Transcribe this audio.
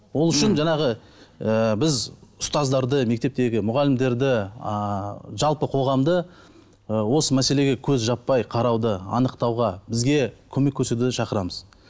ол үшін жаңағы ы біз ұстаздарды мектептегі мұғалімдерді ыыы жалпы қоғамды ы осы мәселеге көз жаппай қарауды анықтауға бізге көмек көрсетуге шақырамыз